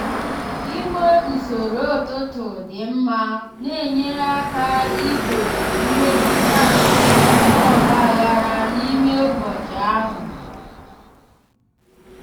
inwe usoro ụtụtụ dị mma na-enyere aka igbochi mmetụta nke ọgba aghara n'ime ụbọchị ahụ.